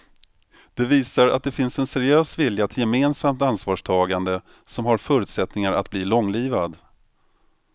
Det visar att det finns en seriös vilja till gemensamt ansvarstagande som har förutsättningar att bli långlivad.